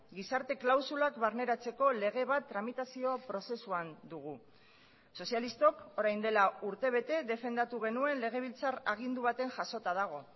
gizarte klausulak barneratzeko lege bat tramitazio prozesuan dugu sozialistok orain dela urtebete defendatu genuen legebiltzar agindu baten jasota dago